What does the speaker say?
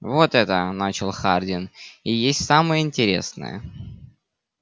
вот это начал хардин и есть самое интересное